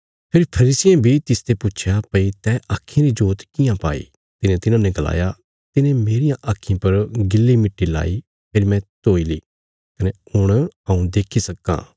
फेरी फरीसियें बी तिसते पुच्छया भई तैं आक्खीं री जोत कियां पाई तिने तिन्हांने गलाया तिने मेरियां आक्खीं पर गीली मट्टी लाई फेरी मैं धोई ली कने हुण हऊँ देक्खी सक्कां